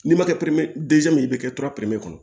N'i ma kɛ ye i bɛ kɛ tora peri kɔnɔ